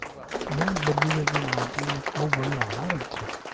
હુઈ બદલી શકી ના તુઈ બૌ બડી હોનારથ છે